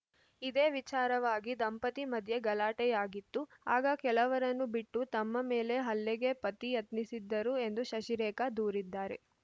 ಇದೇ ವಿಚಾರವಾಗಿ ದಂಪತಿ ಮಧ್ಯೆ ಗಲಾಟೆಯಾಗಿತ್ತು ಆಗ ಕೆಲವರನ್ನು ಬಿಟ್ಟು ತಮ್ಮ ಮೇಲೆ ಹಲ್ಲೆಗೆ ಪತಿ ಯತ್ನಿಸಿದ್ದರು ಎಂದು ಶಶಿರೇಖಾ ದೂರಿದ್ದಾರೆ